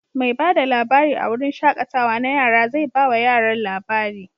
Mai ba da labari a wurin shaƙatawa na yara zai ba wa yaran labari.